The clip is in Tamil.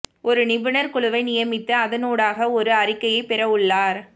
ஒரு நிபுணர் குழுவை நியமித்து அதனூடாக ஒரு அறிகையை பெறவுள்ளார்